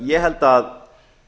ég held að